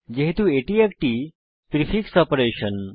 যেহেতু এটি একটি প্রিফিক্স অপারেশন